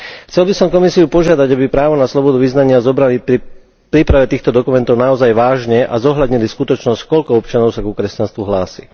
Chcel by som Komisiu požiadať, aby právo na slobodu vyznania zobrali pri príprave týchto dokumentov naozaj vážne a zohľadnili skutočnosť, koľko občanov sa ku kresťanstvu hlási.